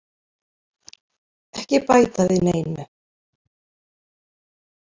Ekki bæta við neinu.